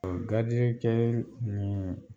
O garidikɛɛ miin